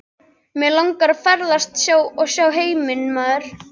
Mig langar að ferðast og sjá heiminn maður.